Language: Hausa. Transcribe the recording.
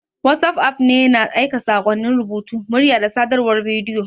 WhatsApp app ne na aika saƙonnin rubutu, murya, da sadarwar bidiyo.